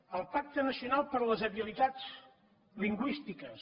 el pacte nacional per a les habilitats lingüístiques